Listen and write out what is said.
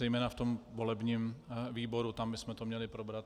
Zejména v tom volebním výboru, tam bychom to měli probrat.